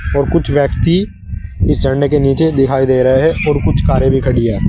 और कुछ व्यक्ति इस झरने के नीचे दिखाई दे रहे है और कुछ कारें भी खड़ी हैं।